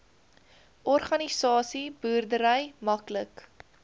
organiese boerdery maklik